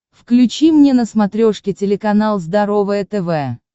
включи мне на смотрешке телеканал здоровое тв